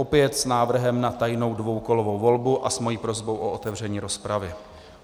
Opět s návrhem na tajnou dvoukolovou volbu a s mojí prosbou o otevření rozpravy.